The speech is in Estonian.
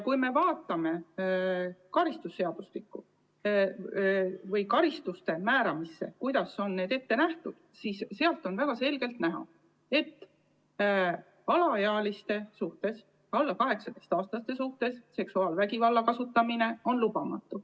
Kui me vaatame karistusseadustiku norme ja karistusi, mis on ette nähtud, siis on väga selgelt näha, et alaealiste suhtes, alla 18-aastaste suhtes seksuaalvägivalla kasutamine on lubamatu.